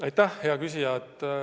Aitäh, hea küsija!